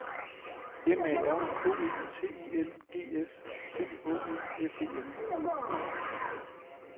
M A R K E T I N G S C H E F E N